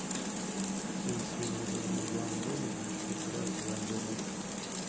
фильм с вином дизелем в главной роли где еще играет элайджа вуд